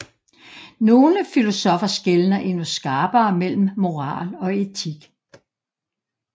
Nogle filosoffer skelner endnu skarpere mellem moral og etik